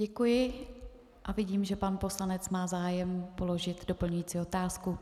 Děkuji a vidím, že pan poslanec má zájem položit doplňující otázku.